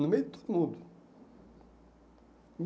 No meio de todo mundo.